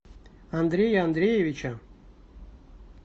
андрея андреевича